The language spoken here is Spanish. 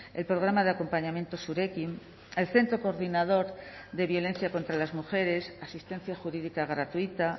el programa de acompañamiento zurekin el centro coordinador de violencia contra las mujeres asistencia jurídica gratuita